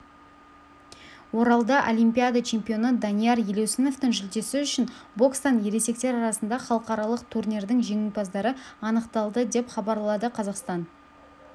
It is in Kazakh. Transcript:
оралда олимпиада чемпионы данияр елеусіновтің жүлдесі үшін бокстан ересектер арасында халықаралық турнирдің жеңімпаздары анықталды деп хабарладықазақстан